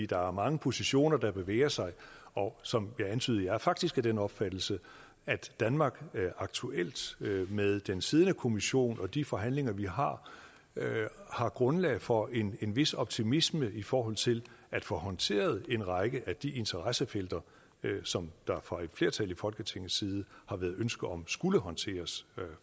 der er mange positioner der bevæger sig og som jeg antydede er jeg faktisk af den opfattelse at danmark aktuelt med den siddende kommission og de forhandlinger vi har har grundlag for en vis optimisme i forhold til at få håndteret en række af de interessefelter som der fra et flertal i folketingets side har været ønske om skulle håndteres